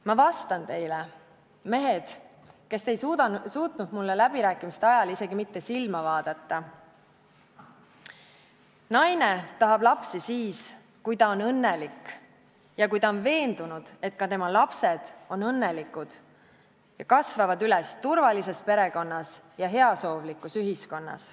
Ma vastan teile, mehed, kes te ei suutnud mulle läbirääkimiste ajal isegi mitte silma vaadata: naine tahab lapsi siis, kui ta on õnnelik ja kui ta on veendunud, et ka tema lapsed on õnnelikud ja kasvavad üles turvalises perekonnas ja heasoovlikus ühiskonnas.